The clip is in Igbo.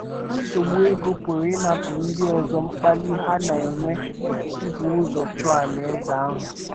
Nsogbu ego pụrụ ịnapụ ndị ọzọ mkpali ha na - enwe ibu ụzọ chọọ Alaeze ahụ.